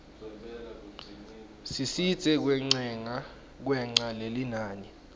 sisidze kwengca lelinani